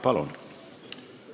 Palun!